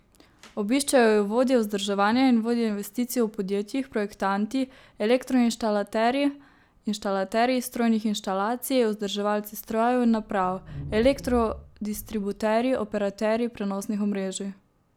Obiščejo ju vodje vzdrževanja in vodje investicij v podjetjih, projektanti, elektroinštalaterji, inštalaterji strojnih inštalacij, vzdrževalci strojev in naprav, elektrodistributerji, operaterji prenosnih omrežij.